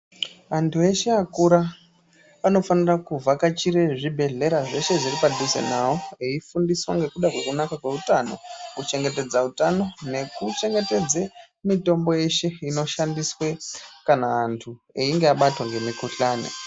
Vantu veshe vakura vanofanire kuvhakachire zvibhedhlera zveshe zviri padhuze nawo eifundiswa ngekuda kwekunaka kweutano, kuchengetedza utano nekuchengetedze mitombo yeshe inoshandiswe kana antu einga abatwa ngemikhuhlani.